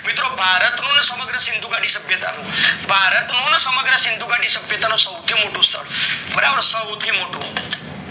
મિત્રો ભારત નું સમગ્ર સિંધુ ગાડી સભ્યતા નું ભારત સિંધુ ગાડી સભ્યતા નું સૌથી મોટું સ્થળ સૌથી મોટું